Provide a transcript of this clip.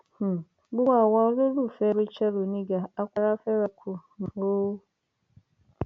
um gbogbo àwa olólùfẹ rachael oníga á kù ara fẹra kù um o